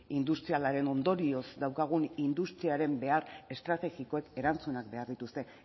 industrialaren ondorioz daukagun industriaren behar estrategikoek erantzunak behar dituzte